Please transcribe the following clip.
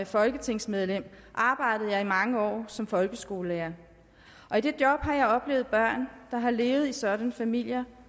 folketingsmedlem arbejdede jeg i mange år som folkeskolelærer og i det job har jeg oplevet børn der har levet i sådanne familier